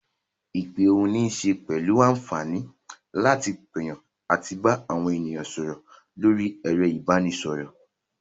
Ìpè ohùn níṣe pẹ̀lú àǹfààní láti pèyàn àti bá àwọn ènìyàn sọ̀rọ̀ lórí ẹ̀rọ ìbanisọ̀rọ̀.